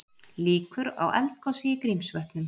Líkur á eldgosi í Grímsvötnum